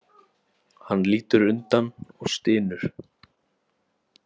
Hann lítur undan og stynur.